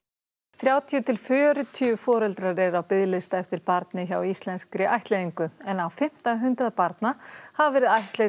þrjátíu til fjörutíu foreldrar eru á biðlista eftir barni hjá Íslenskri ættleiðingu en á fimmta hundrað barna hafa verið ættleidd